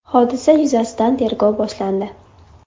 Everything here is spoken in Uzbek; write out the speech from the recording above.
Hodisa yuzasidan tergov boshlandi.